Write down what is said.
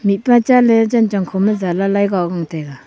mihpa chaley chan chong khoma jala lai goa gong taiga.